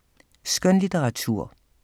Skønlitteratur